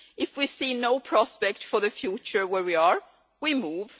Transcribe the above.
If we see no prospect for the future where we are, we move.